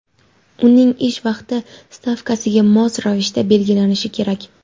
uning ish vaqti stavkasiga mos ravishda belgilanishi kerak.